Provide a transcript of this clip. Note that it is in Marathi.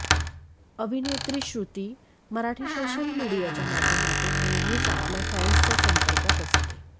अभिनेत्री श्रृती मराठी सोशल मीडियाच्या माध्यमातून नेहमीच आपल्या फॅन्सच्या संपर्कात असते